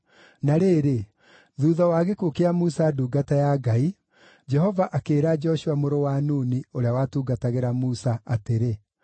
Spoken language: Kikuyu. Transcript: Na rĩrĩ, thuutha wa gĩkuũ kĩa Musa ndungata ya Ngai, Jehova akĩĩra Joshua mũrũ wa Nuni, ũrĩa watungatagĩra Musa, atĩrĩ: